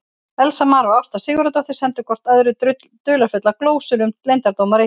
Elías Mar og Ásta Sigurðardóttir sendu hvort öðru dularfullar glósur um leyndardóma Reykjavíkur.